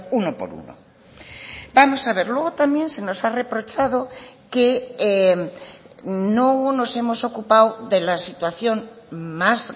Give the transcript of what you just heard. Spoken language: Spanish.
uno por uno vamos a ver luego también se nos ha reprochado que no nos hemos ocupado de la situación más